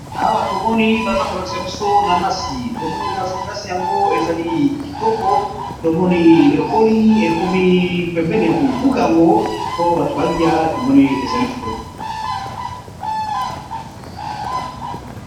Awa tomoni baza ko lakisa biso nanasi, tomoni nanasi yango ezali kitoko tomoni ekoli ekomi pembeni ya ko buka yango po bato ba liya tomoni ezali kitoko.